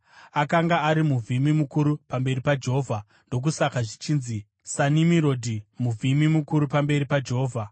Akanga ari muvhimi mukuru pamberi paJehovha; ndokusaka zvichinzi, “SaNimirodhi, muvhimi mukuru pamberi paJehovha.”